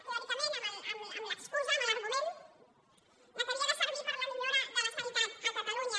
teòricament amb l’excusa amb l’argument que havia de servir per a la millora de la sanitat a catalunya